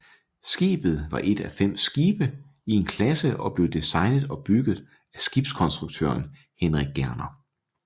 Skibet var et af fem skibe i en klasse og blev designet og bygget af skibskonstruktøren Henrik Gerner